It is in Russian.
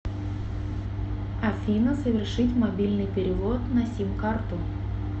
афина совершить мобильный перевод на сим карту